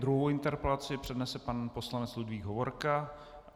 Druhou interpelaci přednese pan poslanec Ludvík Hovorka.